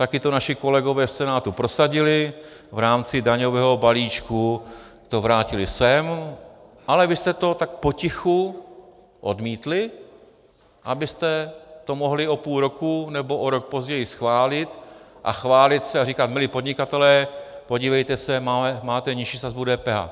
Taky to naši kolegové v Senátu prosadili, v rámci daňového balíčku to vrátili sem, ale vy jste to tak potichu odmítli, abyste to mohli o půl roku nebo o rok později schválit a chválit se a říkat: milí podnikatelé, podívejte se, máte nižší sazbu DPH.